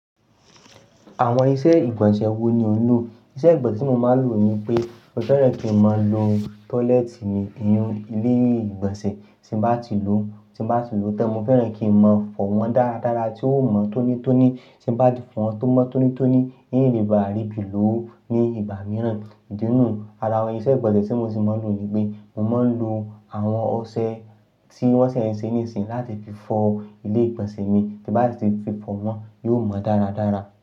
Àwọn iṣẹ́ ìgbọ̀nsẹ̀ wo ni o lò? Iṣẹ́ ìgbọ̀nsẹ̀ tí mo máa ń lò ni pé mo fẹ́ràn kí n máa lo tọ́lẹ́ẹ́tì mi ní inú ilé ìgbọ̀nsẹ̀ tí bá ti lò ó tí bá ti lò ó tan. Mo fẹ́ràn kí n máa fọ wọn dáradára tí ó mọ́ tónítóní tí bá ti fọ wọn tó mọ́ tónítóní, n le bá rí bí ló ní ìgbà mìíràn. Idi nú ara iṣẹ́ ìgbọ̀nsẹ̀ tí mo ti máa ń lò ní pé mo máa ń lo àwọn ọṣẹ tí wọ́n ṣee ní ìsìn láti fi fọ ilé ìgbọ̀nsẹ̀ mi tí bá ti fi fọ wọn, yóò mọ́ dáradára.